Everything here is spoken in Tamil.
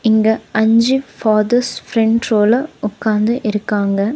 இங்க அஞ்சு ஃபாதர்ஸ் ஃப்ரண்ட் ரோல உக்காந்து இருக்காங்க.